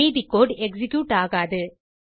மீதி code execute ஆகாது